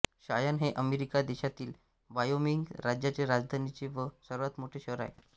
शायान हे अमेरिका देशातील वायोमिंग राज्याचे राजधानीचे व सर्वात मोठे शहर आहे